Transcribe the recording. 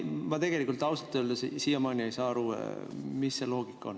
Ma tegelikult ausalt öeldes siiamaani ei saa aru, mis see loogika on.